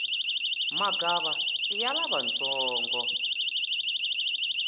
magava iya lavantsongo